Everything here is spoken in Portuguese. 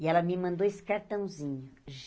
E ela me mandou esse cartãozinho.